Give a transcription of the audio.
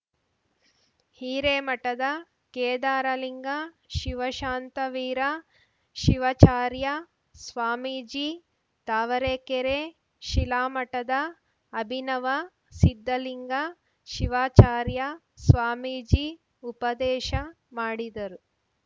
ಹಿರೇಮಠದ ಕೇದಾರಲಿಂಗ ಶಿವಶಾಂತವೀರ ಶಿವಚಾರ್ಯ ಸ್ವಾಮೀಜಿ ತಾವರೆಕೆರೆ ಶಿಲಾಮಠದ ಅಭಿನವ ಸಿದ್ದಲಿಂಗ ಶಿವಾಚಾರ್ಯ ಸ್ವಾಮೀಜಿ ಉಪದೇಶ ಮಾಡಿದರು